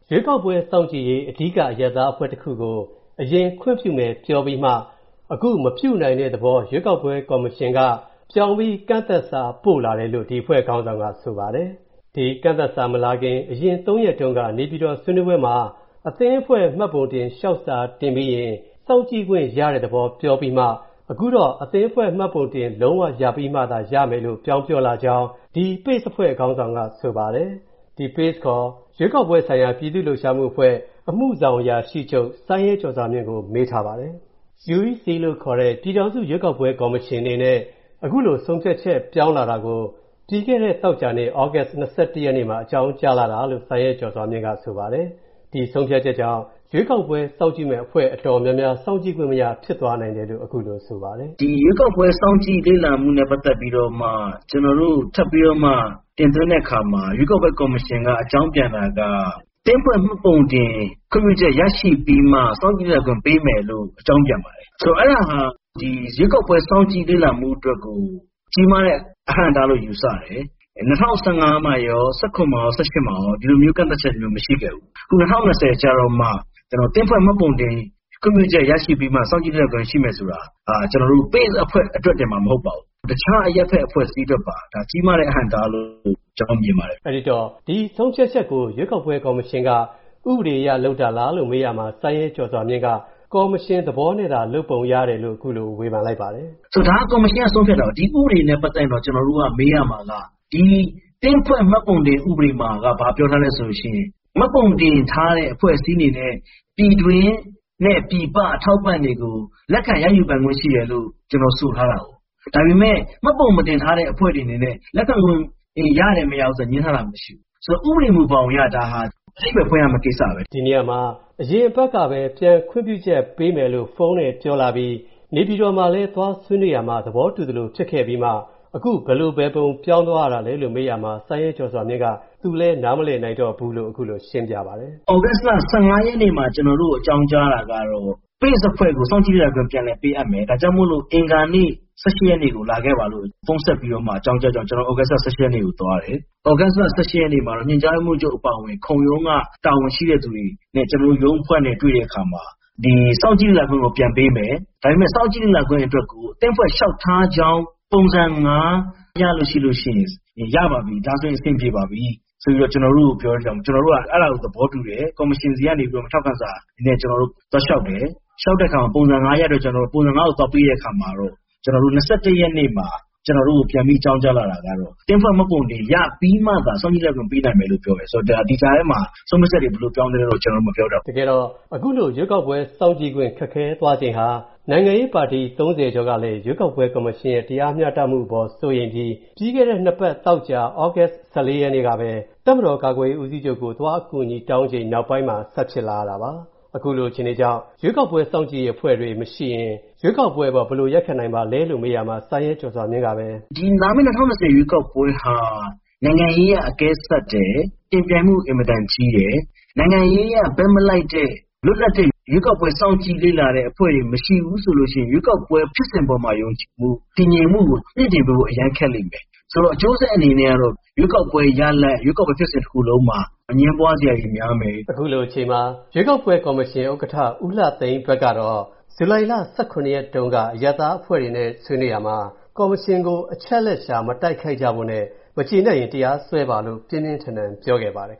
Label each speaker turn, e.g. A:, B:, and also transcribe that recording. A: ရွေးကောက်ပွဲစောင့်ကြည့်ရေး အဓိကအရပ်သားတခုကို အရင်ခွင့်ပြုမယ်ပြောပြီးမှ အခုမပြုနိုင်တဲ့သဘော ရွေးကောက်ပွဲ ကော်မရှင်က ပြောင်းပြီး ကန့်သတ်စာပို့လာတယ်လို့ ဒီအဖွဲ့ခေါင်းဆောင်က ဆိုပါတယ်။ ဒီကန့်သတ်စာမလာခင် အရင် သုံးရက်တုန်းက နေပြည်တော် ဆွေးနွေးပွဲမှာ အသင်းအဖွဲ့ မှတ်ပုံတင်လျှောက်စာတင်ပြီးရင် စောင့်ကြည့်ခွင့်ရတဲ့သဘော ပြောပြီးမှ အခုတော့ အသင်းအဖွဲ့မှတ်ပုံတင်လုံး၀ ရပြီးမှသာ ရမယ်လို့ ပြောင်းပြောလာကြောင်း ဒီ PACE အဖွဲ့ ခေါင်းဆောင်က ဆိုပါတယ်။ ဒီ PACE ခေါ် ရွေးကောက်ပွဲဆိုင်ရာ ပြည်သူ့လှုပ်ရှားမှု အမှုဆောင်အရာရှိချုပ် စိုင်းရဲကျော်စွာမြင့်ကို မေးထားပါတယ်။ UEC လို့ခေါ်တဲ့ ပြည်ထောင်စုရွေးကောက်ပွဲ ကော်မရှင်အနေနဲ့ အခုလို ဆုံးဖြတ်ချက်ပြောင်းလာတာကို ပြီးခဲ့တဲ့ သောကြာနေ့ သြဂုတ် ၂၁ ရက်နေ့မှာ အကြောင်းကြားလာတာလို့ စိုင်းရဲကျော်စွာမြင့်က ဆိုပါတယ်။ ဒီဆုံးဖြတ်ချက်ကြောင့် ရွေးကောက်ပွဲစောင့်ကြည့်မယ့်အဖွဲ့ တော်တော်များများ စောင့်ကြည့်ခွင့်မရ ဖြစ်သွားနိုင်တယ်လို့ အခုလိုဆိုပါတယ်
B: ။ "ဒီ ရွေးကောက်ပွဲစောင့်ကြည့်လေ့လာမှုနဲ့ ပတ်သက်ပြီးတော့မှ ကျနော်တို့ ထပ်ပြီးတော့မှ တင်သွင်းတဲ့အခါမှာ ရွေးကောက်ပွဲကော်မရှင်က အကြောင်းပြန်တာက အသင်းအဖွဲ့မှတ်ပုံတင် ခွင့်ပြုချက်ရရှိပြီးမှ စောင့်ကြည့်နိုင်ခွင့် ပေးမယ်လို့ အကြောင်းပြန်ပါတယ်။ ဆိုတော့ အဲ့ဒါဟာ ရွေးကောက်ပွဲစောင့်ကြည့်လေ့လာမှုအတွက်ကို ကြီးမားတဲ့ အဟန့်အတားလို့ ယူဆတယ်။ ၂၀၁၅ မှာရော၊ ၁၇ မှာရော၊ ၁၈ မှာရော ဒီလိုမျိုး ကန့်သတ်ချက်မျိုးမရှိခဲ့ဘူး။ အခု ၂၀၂၀ ကျတော့မှ အသင်းအဖွဲ့ မှတ်ပုံတင် ခွင့်ပြုချက် ရရှိပြီးတော့မှ စောင့်ကြည့်လေ့လာခွင့်ရှိမယ်ဆိုတာ ကျနော်တို့ PACE အဖွဲ့တင်မှမဟုတ်ပါဘူး။ တခြားအရပ်ဘက် အဖွဲ့အစည်းအတွက်ပါ ကြီးမားတဲ့ အဟန့်အတားလို့ ကျနော်တော့ မြင်ပါတယ်
A: ။" အဲဒီတော့ ဒီဆုံးဖြတ်ချက်ကို ရွေးကောက်ပွဲ ကော်မရှင်က ဥပဒေအရလုပ်တာပါလားလို့ မေးရာမှာ စိုင်းရဲကျော်စွာမြင့်က ကော်မရှင်သဘောနဲ့သာ လုပ်ပုံရတယ်လို့ အခုလို ဝေဖန်လိုက်ပါတယ်။
B: "ဒါကော်မရှင်က ဆုံးဖြတ်တာပါ။ ဒီဥပဒေနဲ့ ပတ်သက်ရင်တော့ ကျနော်တို့က မေးရမှာက ဒီ အသင်းဖွဲ့ မှတ်ပုံတင် ဥပဒေမှာက ဘာပြောထားလဲဆိုလို့ရှိရင် မှတ်ပုံတင်ထားတဲ့ အဖွဲ့အစည်းအနေနဲ့ ပြည်တွင်းနဲ့ ပြည်ပ အထောက်အပံ့တွေကို လက်ခံရယူပိုင်ခွင့်ရှိတယ်လို့ ဒီလို ဆိုထားပါတယ်။ ဒါပေမဲ့ မှတ်ပုံမတင်ထားတဲ့ အဖွဲ့တွေအနေနဲ့ လက်ခံခွင့်တွေ ရတယ်၊ မရဘူးဆိုတာ ငြင်းထားတာ မရှိဘူး။ ဆိုတော့ ဥပဒေမူဘောင်အရ ဒါဟာ အဓိပ္ပါယ်ဖွင့်ရမယ့် ကိစ္စပဲ။
A: " ဒီနေရာမှာ အရင်အပတ်ကပဲ ပြန်ခွင့်ပြုချက်ပေးမယ်လို့ ဖုန်းနဲ့ပြောလာပြီး နေပြည်တော်မှာလည်း သွားဆွေးနွေးရာမှာ သဘောတူသလို ဖြစ်ခဲ့ပြီးမှ အခုဘယ်လိုဘယ်ပုံ ပြောင်းသွားတာလဲလို့ မေးရမှာ စိုင်းရဲကျော်စွာမြင့်က သူလည်း နားမလည်နိုင်တော့ဘူးလို့ အခုလို ရှင်းပြပါတယ်။
B: "သြဂုတ်လ ၁၅ရက်နေ့မှာ ကျနော်တို့ကို အကြောင်းကြားတာကတော့ PACE အဖွဲ့ကို စောင့်ကြည့်တဲ့အဖွဲ့အဖြစ် ပြန်လည်ပေးအပ်မယ်။ ဒါကြောင့်မို့ အင်္ဂါနေ့ ၁၈ ရက်နေ့ကို လာခဲ့ပါလို့ ဖုန်းဆက်ပြီးတော့ အကြောင်းကြားတဲ့အတွက်ကြောင့် ကျနော်တို့ သြဂုတ်လ ၁၈ ရက်နေ့မှာ သွားတယ်။ သြဂုတ်လ ၁၈ ရက်နေ့မှာတော့ ညွှန်ကြားရေးမှူးချုပ် ခုံရုံးက တာဝန်ရှိတဲ့သူတွေနဲ့ ကျနော်တို့ ရုံးအဖွဲ့နဲ့ တွေ့တဲ့အခါမှာ ဒီစောင့်ကြည့်လေ့လာခွင့်ကို ပြန်ပေးမယ်၊ ဒါပေမဲ့ စောင့်ကြည့်လေ့လာခွင့်အတွက်ကို အသင်းအဖွဲ့လျှောက်ထားကြောင်း ပုံစံ ၅ ရလို့ရှိရင် ရပါပြီ၊ ဒါဆိုအဆင်ပြေပါပြီ ဆိုပြီးတော့ ကျနော်တို့ကို ပြောတဲ့အတွက်ကြောင့် ကျနော်တို့က အဲဒါကို သဘောတူတယ်။ ကော်မရှင်ဆီကနေပြီးတော့ ထောက်ခံစာနဲ့ ကျနော်တို့သွားလျှောက်တယ်။ လျှောက်တဲ့အခါမှာ ပုံစံ ၅ ရတဲ့အတွက် ပုံစံ ၅ ကို သွားပေးတဲ့အခါမှာတော့ ကျနော်တို့ ၂၁ ရက်နေ့မှာ ကျနော်တို့ကို ပြန်ပြီးအကြောင်းကြားလာတာကတော့ အသင်းအဖွဲ့မှတ်ပုံတင်ရပြီးမှသာ စောင့်ကြည့်လေ့လာခွင့်ကို ပေးနိုင်မယ်လို့ပြောတယ်။ ဆိုတော့ ဒါ ဒီကြားထဲမှာ ဆုံးဖြတ်ချက်တွေ ဘယ်လိုပြောင်းသွားသလဲတော့ ကျနော်လည်း မပြောတတ်ဘူ
A: း။" တကယ်တော့ အခုလို ရွေးကောက်ပွဲစောင့်ကြည့်ခွင့် ခက်ခဲသွားခြင်းဟာ နိုင်ငံရေးပါတီ ၃၀ ကျော်ကလည်း ရွေးကောက်ပွဲကော်မရှင်ရဲ့ တရားမျှတမှုအပေါ် စိုးရိမ်ပြီး ပြီးခဲ့တဲ့ နှစ်ပတ် သောကြာ သြဂုတ် ၁၄ ရက်နေ့ကပဲ တပ်မတော် ကာကွယ်ရေးဦးစီးချုပ်ကို သွားအကူအညီတောင်းချိန် နောက်ပိုင်းမှာ ဆက်ဖြစ်လာရတာပါ။ အခုလို အခြေအနေကြောင့် ရွေးကောက်ပွဲစောင့်ကြည့်ရေးအဖွဲ့တွေ မရှိရင် ရွေးကောက်ပွဲအပေါ် ဘယ်လို ရပ်ခံနိုင်ပါသလဲလို့ မေးရာမှာ စိုင်းရဲကျော်စွာမြင့်ပဲ....
B: "ဒီ လာမယ့် ၂၀၂၀ ရွေးကောက်ပွဲဟာ နိုင်ငံရေးအရ အကဲစပ်တယ်၊ ယှဉ်ပြိုင်မှုအင်မတန်ကြီးတယ်။ နိုင်ငံရေးအရ ဘက်မလိုက်တဲ့ လွတ်လပ်တဲ့ ရွေးကောက်ပွဲစောင့်ကြည့်လေ့လာတဲ့ အဖွဲ့တွေမရှိဘူးဆိုလို့ရှိရင် ရွေးကောက်ပွဲ ဖြစ်စဉ်ပေါ်မှာ ယုံကြည်မှု၊ တည်ငြိမ်မှုကို မြှင့်တင်ပေးဖို့အရမ်းခက်လိမ့်မယ်။ ဆိုတော့ အကျိုးဆက်အနေနဲ့ကတော့ ရွေးကောက်ပွဲ ရလဒ်၊ ရွေးကောက်ပွဲ ဖြစ်စဉ်တခုလုံးမှာ အငြင်းပွားစရာတွေများမယ်။" အ
A: ခုလိုအချိန်မှာ ရွေးကောက်ပွဲကော်မရှင် ဥက္ကဋ္ဌ ဦးလှသိန်းအတွက်ကတော့ ဇူလိုင်လ ၁၇ ရက်တုန်းက အရပ်သားအဖွဲ့တွေနဲ့ ဆွေးနွေးရာမှာ ကော်မရှင်ကို အချက်အလက်ရှာ မတိုက်ခိုက်ကြဖို့နဲ့ မကျေနပ်ရင် တရားစွဲပါလို့ ပြင်းပြင်းထန်ထန် ပြောခဲ့ပါတယ်